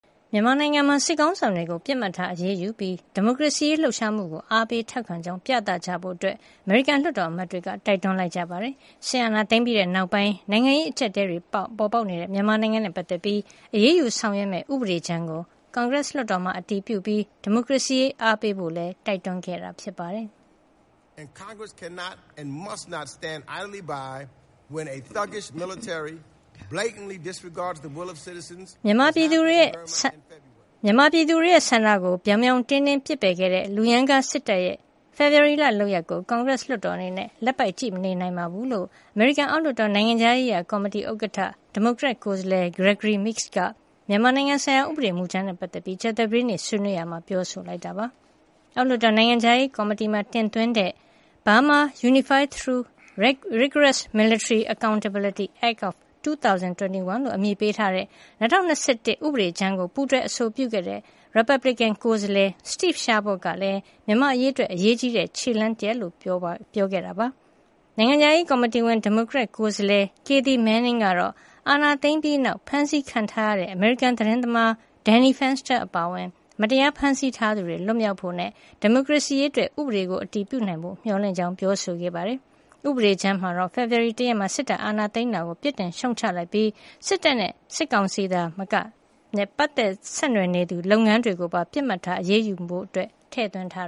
မြန်မာနိုင်ငံမှာ စစ်ခေါင်းဆောင်တွေကို ပစ်မှတ်ထား အရေးယူပြီး၊ ဒီမိုကရေစီရေး လှုပ်ရှားမှုကို အားပေးထောက်ခံကြောင်း ပြသကြဖို့ အမေရိကန် လွှတ်တော်အမတ်တွေ တိုက်တွန်းလိုက်ကြပါတယ်။ စစ်အာဏာသိမ်းပြီးနောက်ပိုင်း နိုင်ငံရေး အကျပ်အတည်းတွေ ပေါ်ပေါက်နေတဲ့ မြန်မာနိုင်ငံနဲ့ ပတ်သက်လို့ အရေးယူ ဆောင်ရွက်မယ့် ဥပဒေကြမ်းကို ကွန်ဂရက် လွှတ်တော်မှာ အတည်ပြုပြီး ဒီမိုကရေစီရေး အားပေးဖို့လည်း တိုက်တွန်းခဲ့တာပါ။ “မြန်မာပြည်သူတွေရဲ့ ဆန္ဒကို ပြောင်ပြောင်တင်းတင်း ပစ်ပယ်ခဲ့တဲ့ လူရမ်းကားစစ်တပ်ရဲ့ ဖေဖော်ဝါရီလက လုပ်ရပ်ကို ကွန်ဂရက် လွှတ်တော်အနေနဲ့ လက်ပိုက်ကြည့်မနေနိုင်ပါဘူး။” လို့ အမေရိကန် အောက်လွှတ်တော် နိုင်ငံခြားရေးရာ ကော်မတီဥက္ကဋ္ဌ ဒီမိုကရက်ကိုယ်စားလှယ် Gregory Meeks က မြန်မာနိုင်ငံဆိုင်ရာ ဥပဒေမူကြမ်းနဲ့ ပတ်သက်ပြီး ကြာသပတေးနေ့က ဆွေးနွေးရာမှာ ပြောဆိုလိုက်တာပါ။ အောက်လွှတ်တော် နိုင်ငံခြားရေးရာ ကော်မတီမှာ တင်သွင်းထားတဲ့ “Burma Unified through Rigorous Military Accountability Act of 2021” လို့ အမည်ပေးထားတဲ့ ၂၀၂၁ ခုနှစ် ဥပဒေကြမ်းကို ပူးတွဲ အဆိုပြုခဲ့တဲ့ ရီပတ်ဘလစ်ကန် ကိုယ်စားလှယ် Steve Chabot ကလည်း မြန်မာ့အရေးအတွက် အရေးကြီးတဲ့ ခြေလှမ်းတရပ်အဖြစ် တင်ပြခဲ့တာပါ။ နိုင်ငံခြားရေး ကော်မတီဝင် ဒီမိုကရက်ကိုယ်စားလှယ် Kathy Manning ကတော့ အာဏာသိမ်းပြီးနောက် ဖမ်းဆီးခံထားရတဲ့ အမေရိကန်သတင်းသမား Danny Fenster အပါအဝင် မတရား ဖမ်းဆီးထားသူတွေ လွတ်မြောက်ဖို့ အပါအဝင် ဒီမိုကရေစီရေးအတွက် ဥပဒေကို အတည်ပြုနိုင်ဖို့ မျှော်လင့်ကြောင်း ပြောဆိုခဲ့ပါတယ်။ ဥပဒေကြမ်းမှာတော့ ဖေဖော်ဝါရီလ ၁ ရက်နေ့မှာ စစ်တပ်က အာဏာသိမ်းတာကို ပြစ်တင်ရှုတ်ချလိုက်ပြီး၊ စစ်တပ်နဲ့ စစ်ကောင်စီ သာမက ပတ်သက်ဆက်နွယ်နေတဲ့ လုပ်ငန်းတွေကိုပါ ပစ်မှတ်ထား အရေးယူဖို့ ထည့်သွင်းထား